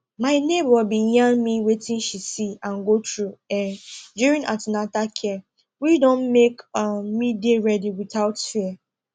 my neighbor bin yarn me wetin she see and go through um during an ten atal care which don make um me dey ready without fear